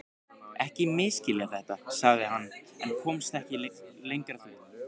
Ekki misskilja þetta, sagði hann en komst ekki lengra því